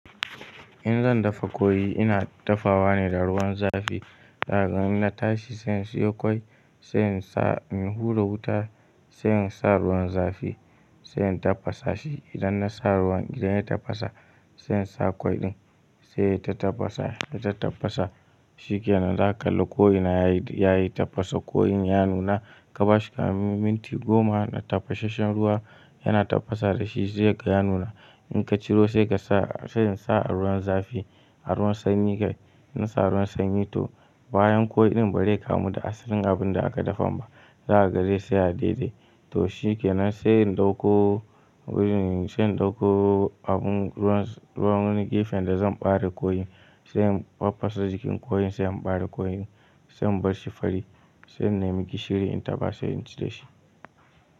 In zan dafa koyi ina dafawa ne da ruwan zafi. Zaka in na tashi sai in siyo kwai, sai in sa, in hura wuta, sai in sa ruwan zafi, sai in tafasa shi. Idan na sa ruwan, idan ya tafasa sai in sa kwai ɗin, sai ya ta tafasa, ya ta tafasa. Shikenann, za ka lalla ko ina yayi, yayi tafasa. Koyin ya nuna, ka bashi ƙamin minti goma na tafasasshen ruwa yana tafasa da shi sai kaga ya nuna. In ka ciro sai ka sa, sai in sa a ruwan zafi, a ruwan sanyi kai. Na sa ruwan sanyi to bayan koyi ɗin ba zai kamu da asalin abun da aka dafa ba. Za kaga zai tsaya daidai. To shikenan sai in ɗauko, sai in ɗauko abun, ruwan, ruwan wani gefen da zan ɓare koyi, sai in faffasa jikin koyin sai in ɓare koyin, sai in bar shi fari, sai in nemi gishiri in taba, in ci da shi.